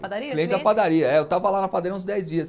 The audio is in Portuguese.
padaria, é. Eu estava lá na padaria uns dez dias.